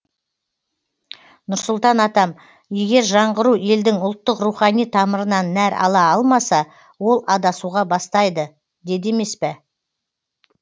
нұрсұлтан атам егер жаңғыру елдің ұлттық рухани тамырынан нәр ала алмаса ол адасуға бастайды деді емес пе